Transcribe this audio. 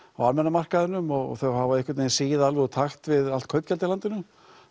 á almenna markaðnum og þau hafa einhvern vegin sigið alveg úr takt við allt kaupgjald í landinu